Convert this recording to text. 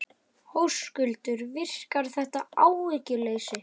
Höskuldur: Virkar þetta sem áhugaleysi?